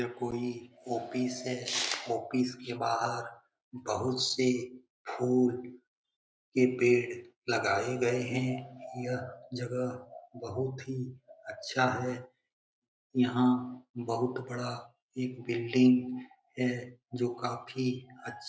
यह कोई ओफिस है। ऑफिस के बाहर बहुत से फूल के पेड़ लगाए गए है। यह जगह बहुत ही अच्छा है। यहां बहुत बड़ा एक बिल्डिंग है जो काफी अच्छा --